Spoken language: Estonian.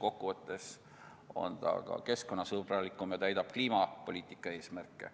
Kokkuvõttes aga on see keskkonnasõbralikum ja täidab kliimapoliitika eesmärke.